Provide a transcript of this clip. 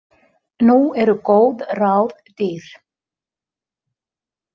Nú eru góð ráð dýr!